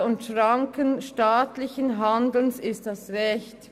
«Grundlage und Schranken staatlichen Handelns ist das Recht».